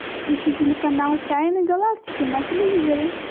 ищи телеканал тайны галактики на телевизоре